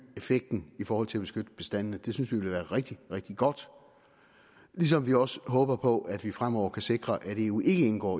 effekten i forhold til at beskytte bestandene det synes vi ville være rigtig rigtig godt ligesom vi også håber på at vi fremover kan sikre at eu ikke indgår